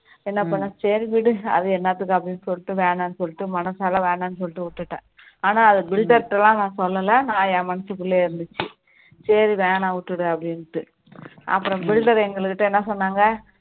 என்ன பண்ணேன் சரி விடு அது என்னத்துக்கு அப்படின்னு சொல்லிட்டு வேணாம்னு சொல்லிட்டு மனசால வேணாம்னு சொல்லிட்டு விட்டுட்டேன் ஆனா அதை builder கிட்டலாம் நான் சொல்லல நான் என் மனசுகுள்ளயே இருந்துச்சு சரி வேணாம் விட்டுடு அப்படின்னு அப்பறோம் builder எங்ககிட்டா என சொன்னாங்க